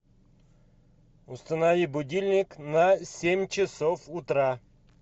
установи будильник на семь часов утра